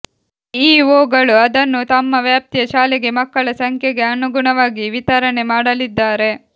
ಬಿಇಒಗಳು ಅದನ್ನು ತಮ್ಮ ವ್ಯಾಪ್ತಿಯ ಶಾಲೆಗೆ ಮಕ್ಕಳ ಸಂಖ್ಯೆಗೆ ಅನುಗುಣವಾಗಿ ವಿತರಣೆ ಮಾಡಲಿದ್ದಾರೆ